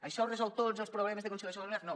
això resol tots els problemes de conciliació familiar no